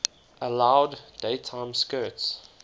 allowed daytime skirts